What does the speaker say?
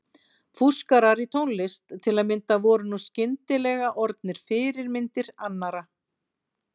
Fúskarar í tónlist til að mynda voru nú skyndilega orðnir fyrirmyndir annarra.